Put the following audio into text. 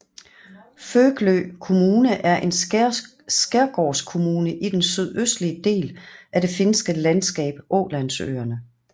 Föglö Kommune er en skærgårdskommune i den sydøstlige del af det finske landskab Ålandsøerne